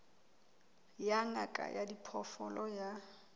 ya ngaka ya diphoofolo ya